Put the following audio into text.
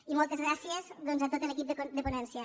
i moltes gràcies doncs a tot l’equip de ponència